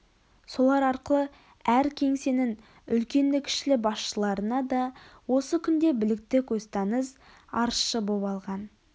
солар арқылы әр кеңсенің үлкенді-кішілі басшыларына да осы күнде білікті көзтаныс арызшы боп алған